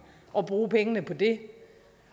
og bruge pengene på det